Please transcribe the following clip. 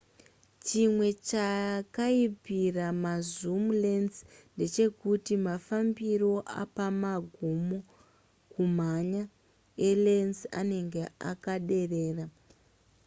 chimwe chakaipira mazoom lense ndechekuti mafambiro apamagumo kumhanya elens anenge akaderera